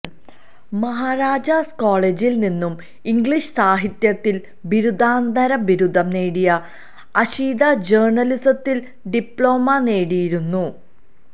മഹാരാജാസ് കോളേജിൽ നിന്നും ഇംഗ്ലീഷ് സാഹിത്യത്തിൽ ബിരുദാനന്തര ബിരുദം നേടിയ അഷിത ജേർണ്ണലിസത്തിലും ഡിപ്ലോമനേടിയിരുന്നു